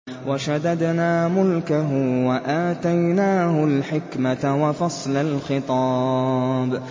وَشَدَدْنَا مُلْكَهُ وَآتَيْنَاهُ الْحِكْمَةَ وَفَصْلَ الْخِطَابِ